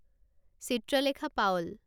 Chitralekha Paul